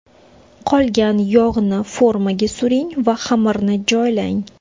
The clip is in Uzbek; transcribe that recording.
Qolgan yog‘ni formaga suring va xamirni joylang.